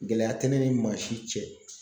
Gɛlɛya tɛ ne ni maa si cɛ